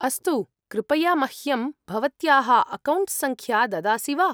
अस्तु। कृपया मह्यं भवत्याः अकौण्ट्सङ्ख्या ददासि वा?